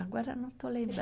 Agora não estou